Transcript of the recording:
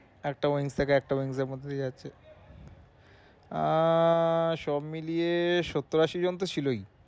একটা wings থেকে আর একটা wings এর মধ্যে দিয়ে যাচ্ছে। আহ সব মিলিয়ে সত্তর আশি জন তো ছিলোই।